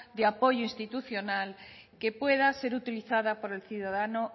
de apoyo institucional que pueda ser utilizada por el ciudadano